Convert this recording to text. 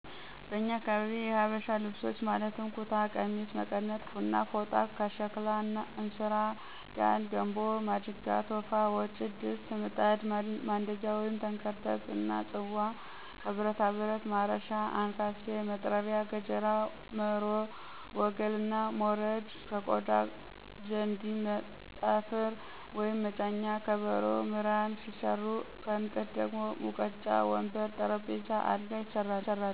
በኛ አካባቢ የሀበሻ ልብሶች ማለትም ኩታ፣ ቀሚስ፣ መቀነት እና ፎጣ፤ ከሸክላ እንስራ፣ ጋን፣ ገንቦ፣ ማድጋ፣ ቶፋ፣ ወጭት፣ ድስት፣ ምጣድ፣ ማንደጃ(ተንከርተት)እና ጽዋ፤ ከብረታብረት ማረሻ፣ አንካሴ፣ መጥረቢያ፣ ገጀራ፣ መሮ፣ ወገል እና ሞረድ፤ ከቆዳ ዠንዲ፣ ጠፍር(መጫኛ)፣ከበሮ፣ ምራን ሲሰሩ ከእንጨት ደግሞ ሙቀጫ፣ ወንበር፣ ጠረንጴዛ፣ አልጋ ይሰራሉ።